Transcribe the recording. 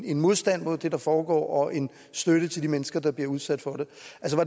en modstand mod det der foregår og en støtte til de mennesker der bliver udsat for